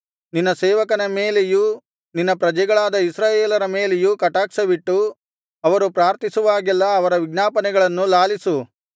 ನಿನ್ನ ಸೇವಕನ ಮೇಲೆಯೂ ನಿನ್ನ ಪ್ರಜೆಗಳಾದ ಇಸ್ರಾಯೇಲರ ಮೇಲೆಯೂ ಕಟಾಕ್ಷವಿಟ್ಟು ಅವರು ಪ್ರಾರ್ಥಿಸುವಾಗೆಲ್ಲಾ ಅವರ ವಿಜ್ಞಾಪನೆಗಳನ್ನು ಲಾಲಿಸು